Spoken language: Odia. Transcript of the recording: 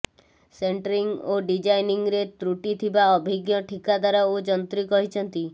ସେଣ୍ଟ୍ରିଂ ଓ ଡିଜାଇନିଂରେ ତ୍ରୁଟିଥିବା ଅଭିଜ୍ଞ ଠିକାଦାର ଓ ଯନ୍ତ୍ରୀ କହିଛନ୍ତି